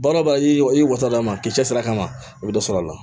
Baara o baara i wasa d'a ma k'i cɛsiri a kama i bɛ dɔ sɔrɔ a la